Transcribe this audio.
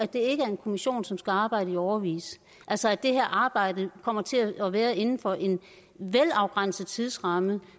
det ikke er en kommission som skal arbejde i årevis altså at det her arbejde kommer til at være inden for en velafgrænset tidsramme